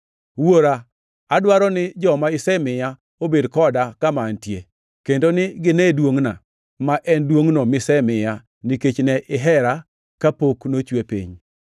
“Wuora, adwaro ni joma isemiya obed koda kama antie, kendo ni gine duongʼna, ma en duongʼno misemiya nikech ne ihera kapok nochwe piny.